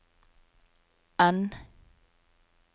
N